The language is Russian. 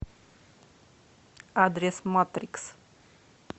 адрес матрикс